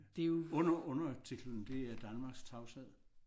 Under undertitlen der er Danmarks tavshed